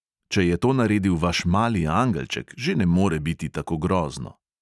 Če je to naredil vaš mali angelček, že ne more biti tako grozno.